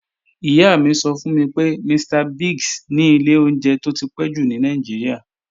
Ìyá mi sọ fún mi pé, Mr. Biggs ni ilé oúnjẹ tó ti pẹ́ jù ní Nàìjíríà.